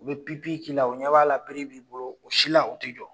U bɛ pipi k'i la, u ɲɛ b'a la bere b'i bolo o si la u tɛ jɔ.